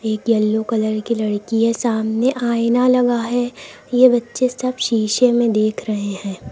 एक yellow colour की लड़की है सामने आईना लगा है ये बच्चे सब शीशे में देख रहे हैं।